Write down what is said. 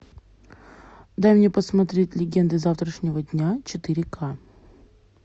дай мне посмотреть легенды завтрашнего дня четыре к